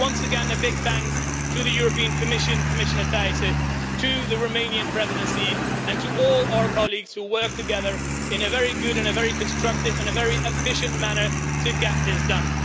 So, once again, a big thank you to the European Commission, Commissioner Thyssen, to the Romanian Presidency and to all our colleagues who worked together in a very good, a very constructive and a very efficient manner to get this done.